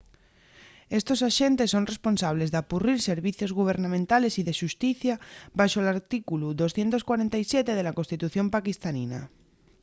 estos axentes son responsables d'apurrir servicios gubernamentales y de xusticia baxo l’artículu 247 de la constitución paquistanina